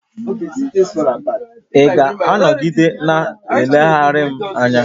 Ị ga-anọgide na-eleghara m anya?